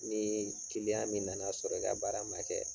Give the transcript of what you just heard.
Ni kiliyan min na na sɔrɔ i ka baara man kɛ.